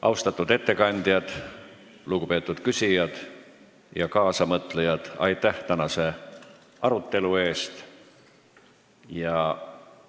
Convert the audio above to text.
Austatud ettekandjad, lugupeetud küsijad ja kaasamõtlejad, aitäh tänase arutelu eest!